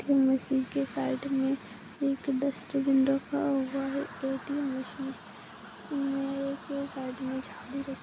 Machine के side मे एक डस्टबिन रखा हुआ है ए.टी.एम. माशीन मे एक साइड मे झाड़ू रख --